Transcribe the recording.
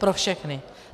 Pro všechny.